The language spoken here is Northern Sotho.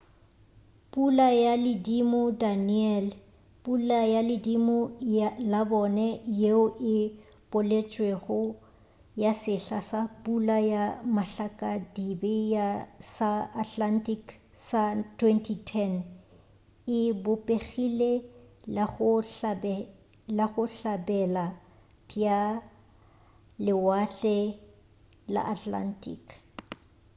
pula ya ledimo danielle pula ya ledimo la bone yeo e boletšwego ya sehla sa pula ya matlakadibe sa atlantic sa 2010 e bopegile go la bohlabela bja lewatle la atlantic